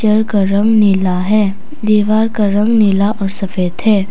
घर का रंग नीला है दीवार का रंग नीला और सफेद है।